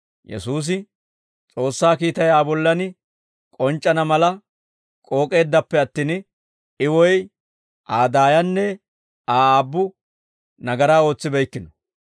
Yesuusi, «S'oossaa kiitay Aa bollan k'onc'c'ana mala k'ook'eeddappe attin, I woy Aa daayanne Aa aabbu nagaraa ootsibeykkino.